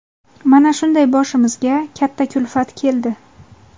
Mana shunday boshimizga katta kulfat keldi.